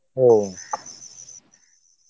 ও